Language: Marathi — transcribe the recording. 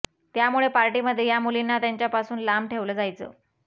त्यामुळे पार्टीमध्ये या मुलींना त्यांच्याापासून लांब ठेवलं जायचं